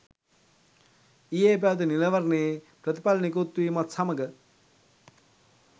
ඊයේ පැවති නිලවරණයේ ප්‍රතිඵල නිකුත් වීමත් සමඟ